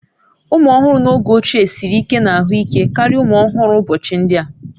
Ụmụ ọhụrụ n'oge ochie siri ike na ahụike karịa ụmụ ọhụrụ ụbọchị ndị a